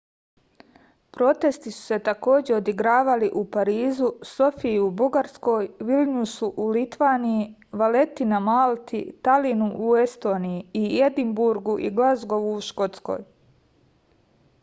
protesti su se takođe odigravali u parizu sofiji u bugarskoj vilnjusu u litvaniji valeti na malti talinu u estoniji i edinburgu i glazgovu u škotskoj